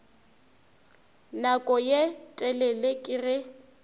nako ye telele ke ge